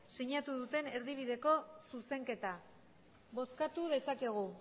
sinatu duten erdibideko zuzenketa bozkatu dezakegu